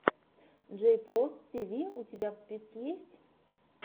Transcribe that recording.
джейпос тиви у тебя в списке есть